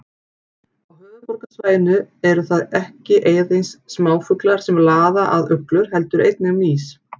Á höfuðborgarsvæðinu eru það ekki aðeins smáfuglar sem laða að uglur heldur einnig mýs.